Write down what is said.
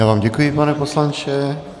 Já vám děkuji, pane poslanče.